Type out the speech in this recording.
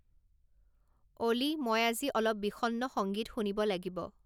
অ'লি মই আজি অলপ বিষণ্ণ সংগীত শুনিব লাগিব